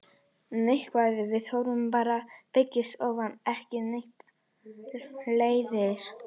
Neikvætt viðhorf til aldraðra byggist oftar en ekki á þekkingarleysi.